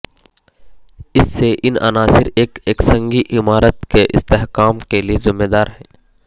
اس سے ان عناصر ایک یک سنگی عمارت کے استحکام کے لئے ذمہ دار ہیں